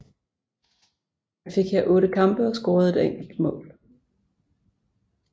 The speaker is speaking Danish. Han fik her otte kampe og scorede et enkelt mål